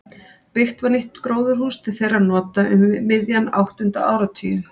Byggt var nýtt gróðurhús til þeirra nota um miðjan áttunda áratuginn.